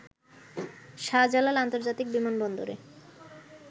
শাহজালাল আন্তর্জাতিক বিমানবন্দরে